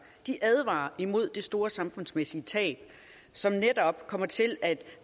de advarer mod det store samfundsmæssige tab som netop kommer til at